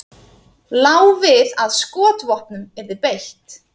Lá við að skotvopnum yrði beitt